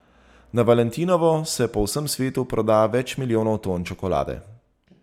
Na valentinovo se po vsem svetu proda več milijonov ton čokolade.